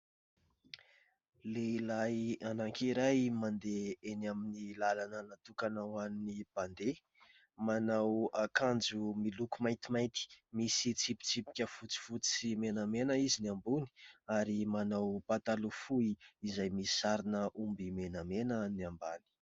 Lehilahy anankiray mandeha eny amin'ny lalana natokana ho an'ny mpandeha. Manao akanjo miloko maintimainty misy tsipitsipika fotsifotsy sy menamena izy ny ambony ary manao pataloha fohy izay misy sarin'omby menamena ny ambany.